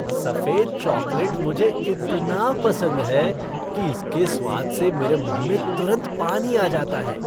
सफेद चॉकलेट मुझे इतना पसंद है कि इसके स्वाद से मेरे मुह में तुरंत पानी आ जाता है।